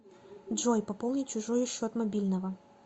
джой пополнить чужой счет мобильного